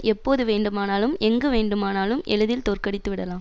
எப்போது வேண்டுமானாலும் எங்கு வேண்டுமானாலும் எளிதில் தோற்கடித்து விடலாம்